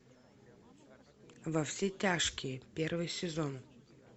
во все тяжкие первый сезон